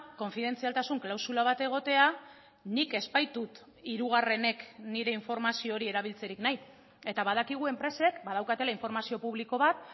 konfidentzialtasun klausula bat egotea nik ez baitut hirugarrenek nire informazio hori erabiltzerik nahi eta badakigu enpresek badaukatela informazio publiko bat